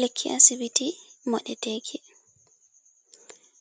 Lekki asibiti, moɗe teki,